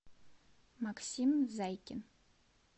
максим зайкин